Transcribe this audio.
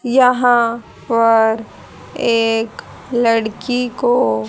यहां पर एक लड़की को--